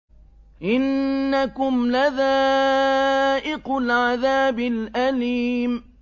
إِنَّكُمْ لَذَائِقُو الْعَذَابِ الْأَلِيمِ